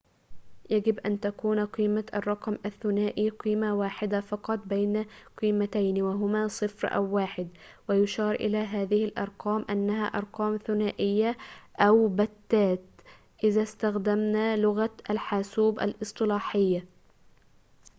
يمكن أن تكون قيمة الرقم الثنائي قيمة واحدة فقط من قيمتين وهما 0 أو 1 ويُشار إلى هذه الأرقام على أنها أرقام ثنائية أو بتّات إذا استخدمنا لغة الحاسوب الاصطلاحية